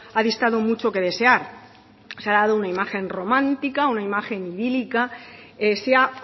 ha distado mucho que desear se ha dado una imagen romántica una imagen idílica se ha